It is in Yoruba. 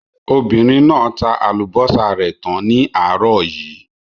Obìnrin náà tá àlùbọ́sà rẹ̀ tán ní àárọ̀ yìí.